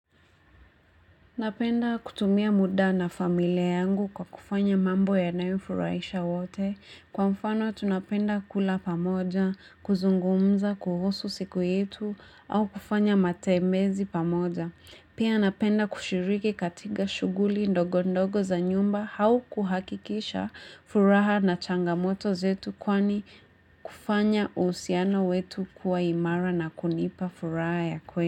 Napenda kutumia muda na familia yangu kwa kufanya mambo yanayo furahisha wote. Kwa mfano tunapenda kula pamoja, kuzungumza, kuhusu siku yetu, au kufanya matembezi pamoja. Pia napenda kushiriki katika shughuli ndogo ndogo za nyumba au kuhakikisha furaha na changamoto zetu kwani kufanya usiano wetu kuwa imara na kunipa furaha ya kweli.